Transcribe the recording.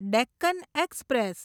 Deccan express